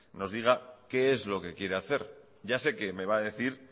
nos diga qué es lo que quiere hacer ya sé que me va a decir